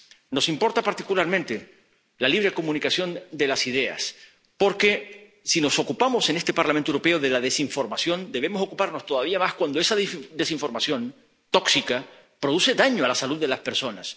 Nos importa particularmente la libre comunicación de las ideas, porque, si nos ocupamos en este Parlamento Europeo de la desinformación, debemos ocuparnos todavía más cuando esa desinformación tóxica produce daño a la salud de las personas